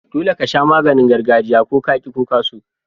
Dolle ka sha maganin gargajiya, ko ka ki ko ka so.